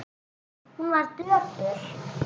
Hún var döpur.